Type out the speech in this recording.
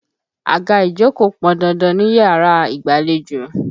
Àga ìjókòó pọn dandan níyàrá ìgbàlejò.